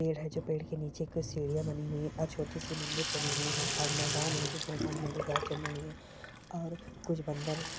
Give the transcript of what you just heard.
पेड़ है जो पेड़ के के नीचे कुछ सीढियाँ बनी हुई हैं और छोटी सी मंदिर बनी हुई है और मैदान है जिस मैदान में हरी घास जमी हुई है और कुछ बंदर --।